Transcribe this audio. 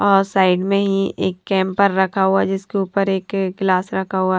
और साइड में ही एक कैंपर रखा हुआ जिसके ऊपर एक ग्लास रखा हुआ--